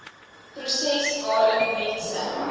proses waarin mense